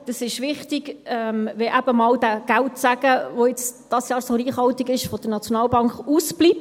Es ist wichtig, wenn eben einmal der Geldsegen der SNB ausbleibt, der dieses Jahr so reichhaltig ist.